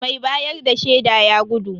Mai bayar da shaida ya gudu.